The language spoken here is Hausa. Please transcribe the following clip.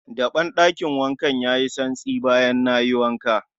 Daben ɗakin wankan yayi santsi bayan nayi wanka